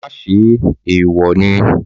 Má ṣe é, èèwọ̀ ni.